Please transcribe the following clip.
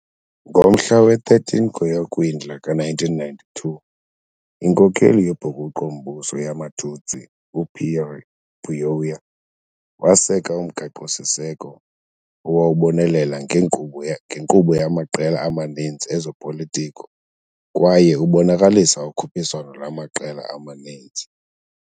Ngomhla we-13 kweyoKwindla ka-1992, inkokeli yobhukuqo-mbuso yamaTutsi uPierre Buyoya waseka umgaqo-siseko, owawubonelela ngenkqubo yamaqela amaninzi ezopolitiko kwaye ubonakalisa ukhuphiswano lwamaqela amaninzi.